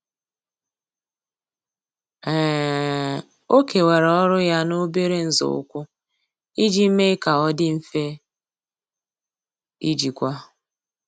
um Ọ́ kèwàrà ọ́rụ́ ya n’óbèré nzọụkwụ iji mee kà ọ́ dị́ mfe íjíkwá.